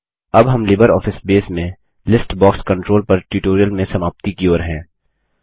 अब हम LibreOffice Base में लिस्ट बॉक्स कंट्रोल पर ट्यूटोरियल में समाप्ति की ओर हैं